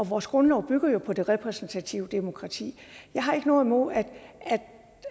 vores grundlov bygger jo på det repræsentative demokrati jeg har ikke noget imod